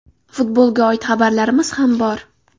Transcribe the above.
Futbolga oid xabarlarimiz ham bor.